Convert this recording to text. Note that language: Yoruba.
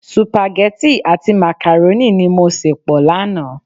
Supageti àti makaroni ni mo se pọ lánàá.